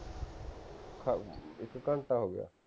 ਇਕ ਘੰਟਾ ਹੋ ਗਿਆ